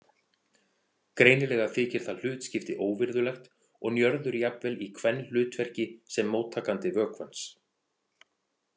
Greinilega þykir það hlutskipti óvirðulegt og Njörður jafnvel í kvenhlutverki sem móttakandi vökvans.